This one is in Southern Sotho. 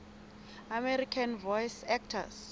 american voice actors